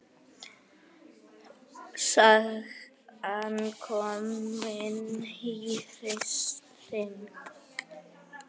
Sagan komin í hring.